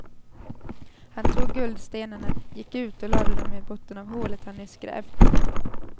Han tog guldstenarna, gick ut och lade dem i botten av hålet han nyss grävt.